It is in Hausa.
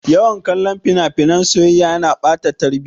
Yawan kallon fina-finan soyayya yana ɓata tarbiya.